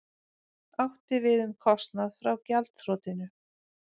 Átti við um kostnað frá gjaldþrotinu